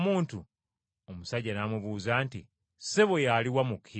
Omusajja n’amubuuza nti, “Ssebo, y’aluwa mmukkirize?”